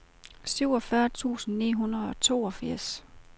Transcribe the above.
syvogfyrre tusind ni hundrede og toogfirs